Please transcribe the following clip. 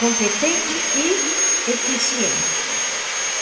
Competente e eficiente.